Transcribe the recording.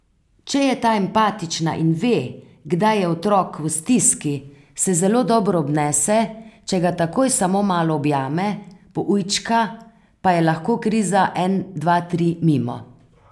Če je ta empatična in ve, kdaj je otrok v stiski, se zelo dobro obnese, če ga takoj samo malo objame, poujčka, pa je lahko kriza en dva tri mimo.